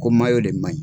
Ko de maɲi